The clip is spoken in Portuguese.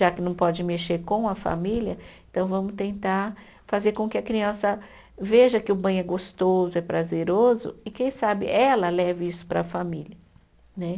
Já que não pode mexer com a família, então vamos tentar fazer com que a criança veja que o banho é gostoso, é prazeroso, e quem sabe ela leve isso para a família.